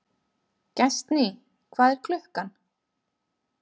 Gestný, hvað er klukkan?